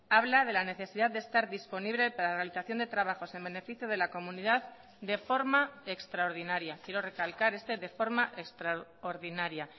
habla de la necesidad de estar disponible para realización de trabajos en beneficio de la comunidad de forma extraordinaria quiero recalcar este de forma extraordinaria